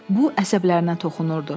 Bu əsəblərinə toxunurdu.